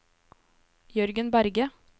Jørgen Berge